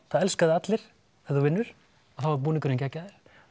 það elska þig allir ef þú vinnur og þá er búningurinn geggjaður